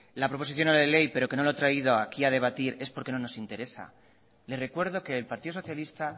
la proposición no de ley pero que no lo he traído aquí a debatir es porque no nos interesa le recuerdo que el partido socialista